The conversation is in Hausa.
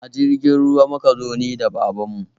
A jirgin ruwa muka zo, ni da babanmu